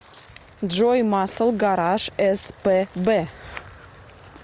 джой масл гараж эс пэ бэ